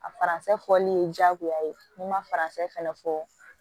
A faransɛ fɔli ye diyagoya ye n'i ma faransɛ fɛnɛ fɔ